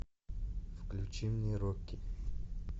включи мне рокки